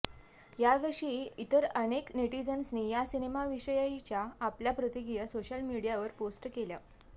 याशिवाय इतर अनेक नेटीझन्सनी या सिनेमाविषयीच्या आपल्या प्रतिक्रिया सोशल मीडियावर पोस्ट केल्या